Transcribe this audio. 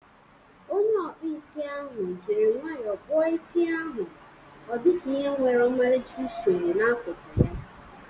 Onye ọkpụ isi ahụ jiri nwayọọ kpụọ isi ahụ ọdika ihe nwere ọmarịcha usoro n'akụkụ ya.